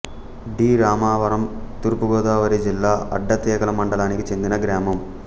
D Ramavaram తూర్పు గోదావరి జిల్లా అడ్డతీగల మండలానికి చెందిన గ్రామం